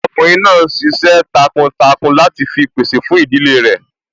Ọkùnrin náà n ṣiṣẹ́ takuntakun láti fi pèsè fún ìdílé rẹ̀